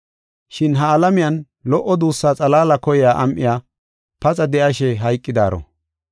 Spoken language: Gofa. Shin ha alamiyan lo77o duussaa xalaala koyiya am7iya paxa de7ashe hayqidaaro.